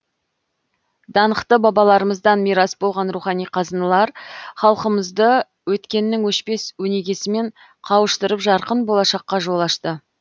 даңқты бабаларымыздан мирас болған рухани қазыналар халқымызды өткеннің өшпес өнегесімен қауыштырып жарқын болашаққа жол ашты